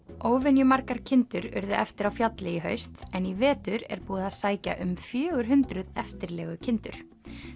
óvenju margar kindur urðu eftir á fjalli í haust en í vetur er búið að sækja um fjögur hundruð eftirlegukindur